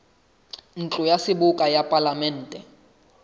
ntlo ya seboka ya palamente